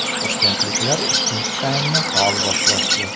Toshkentliklar ikkinchi taymni faol boshlashdi.